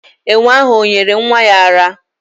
Enwe ahụ o nyere nwa ya ara?